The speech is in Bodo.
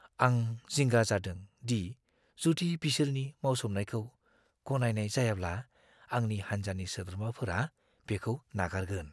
आं जिंगा जादों दि जुदि बिसोरनि मावसोमनायखौ गनायनाय जायाब्ला आंनि हान्जानि सोद्रोमाफोरा बेखौ नागारगोन।